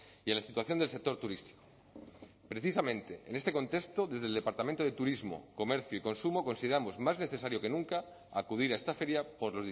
y a la situación del sector turístico precisamente en este contexto desde el departamento de turismo comercio y consumo consideramos más necesario que nunca acudir a esta feria por